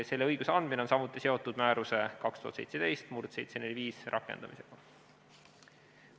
Selle õiguse andmine on samuti seotud määruse 2017/745 rakendamisega.